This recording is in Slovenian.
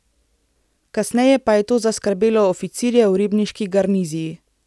Kasneje pa je to zaskrbelo oficirje v ribniški garniziji.